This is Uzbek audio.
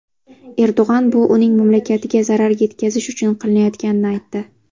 Erdo‘g‘on bu uning mamlakatiga zarar yetkazish uchun qilinayotganini aytdi.